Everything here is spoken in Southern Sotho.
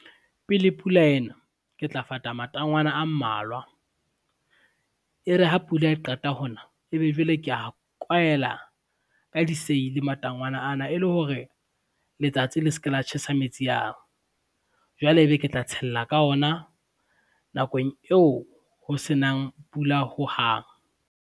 Pele pula ena, ke tla fata matangwana a mmalwa, e re ha pula e qeta hona e be jwale ke a kwaela ka diseili matangwana ana e le hore, letsatsi le se ke la tjhesa metsi ao. Jwale e be ke tla tshella ka ona nakong eo ho senang pula hohang.